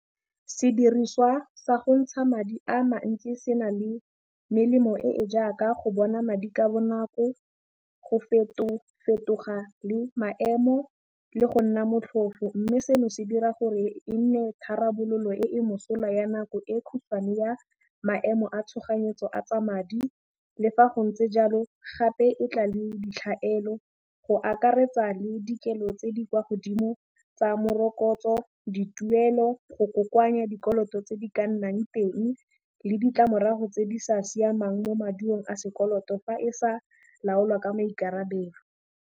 Sediriswa sa gontsha madi a mantsi se na le melemo e e jaaka go bona madi ka bonako, go fetofetoga le maemo le go nna motlhofo mme seno se dira gore e nne tharabololo e e mosola ya nako e kgutshwane ya maemo a tshoganyetso a tsa madi, le fa go ntse jalo gape e tla le ditlhaelo go akaretsa le dikelo tse di kwa godimo tsa morokotso, dituelo, go kokoanya dikoloto tse di ka nnang teng le ditlamorago tse di sa siamang mo maduo a sekoloto fa e sa laolwa ka maikarabelo.